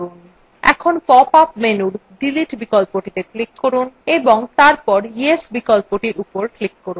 এখন pop up menu delete বিকল্পটিত়ে click করুন এবং তারপর yes বিকল্প উপর click করুন